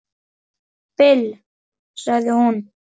Bill, sagði hún.